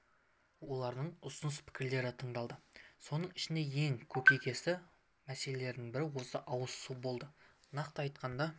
олардың ұсыныс-пікірлері тыңдалды соның ішінде ең көкейкесті мәселенің бірі осы ауыз су болды нақты айтқанда